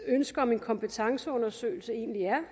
ønske om en kompetenceundersøgelse egentlig er